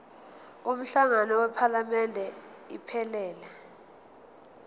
umhlangano wephalamende iphelele